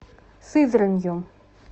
сызранью